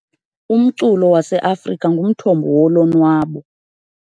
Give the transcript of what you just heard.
Umculo waseAfrika ungumthombo wolonwabo .